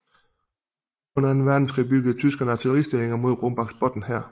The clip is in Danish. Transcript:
Under anden verdenskrig byggede tyskerne artilleristillinger mod Rombaksbotn her